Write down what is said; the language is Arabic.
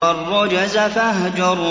وَالرُّجْزَ فَاهْجُرْ